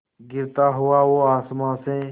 गिरता हुआ वो आसमां से